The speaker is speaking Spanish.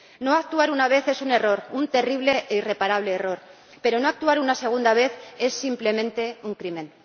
No actuar una vez es un error, un terrible e irreparable error, pero no actuar una segunda vez es simplemente un crimen.